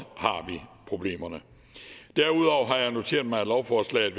problemerne derudover har jeg noteret mig at lovforslaget